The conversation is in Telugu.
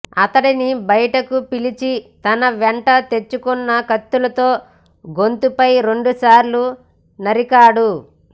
అతడిని బయటకు పిలిచి తన వెంట తెచ్చుకున్న కత్తితో గొంతుపై రెండు సార్లు నరికాడు